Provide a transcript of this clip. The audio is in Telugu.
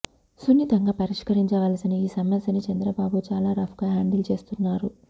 సున్నితంగా పరిష్కరించవలసిన ఈ సమస్యని చంద్రబాబు చాలా రఫ్ గా హ్యాండిల్ చేస్తున్నారు